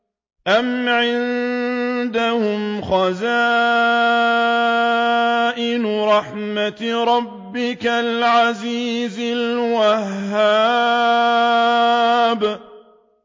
أَمْ عِندَهُمْ خَزَائِنُ رَحْمَةِ رَبِّكَ الْعَزِيزِ الْوَهَّابِ